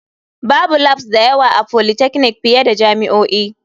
Babu labs da yawa a polytechnic fiye da jami'o'i.